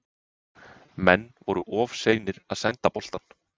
Menn voru of seinir að senda boltann.